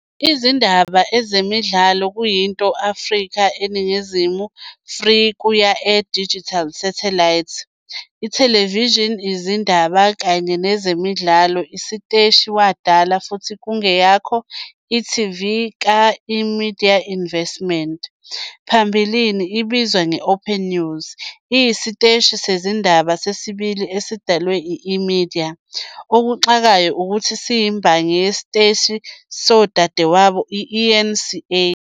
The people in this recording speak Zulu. Izindaba Ezemidlalo kuyinto Afrika eNingizimu free-kuya-air digital satellite ithelevishini izindaba kanye nezemidlalo isiteshi wadala futhi kungeyakho e.tv ka- eMedia Investments. Pambilini ebizwa nge-OpenNews, iyisiteshi sezindaba sesibili esidalwe yi-eMedia, okuxakayo ukuthi siyimbangi yesiteshi sodadewabo i- eNCA.